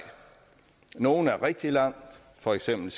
nogle er nået rigtig langt for eksempel